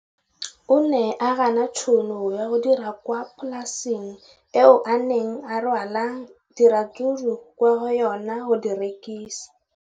O ne a gana tšhono ya go dira kwa polaseng eo a neng rwala diratsuru kwa go yona go di rekisa.